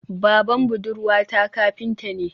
Baban budurwata kafinta ne